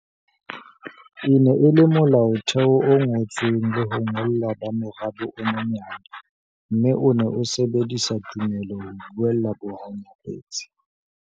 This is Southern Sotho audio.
E ne e le Molaotheo o ngotsweng le ho ngollwa ba morabe o monyane, mme o ne o sebedisa tumelo ho buella bohanyapetsi.